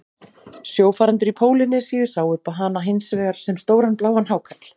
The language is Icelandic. Sjófarendur í Pólýnesíu sáu hana hins vegar sem stóran bláan hákarl.